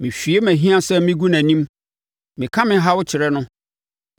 Mehwie mʼahiasɛm megu nʼanim; meka me haw kyerɛ no.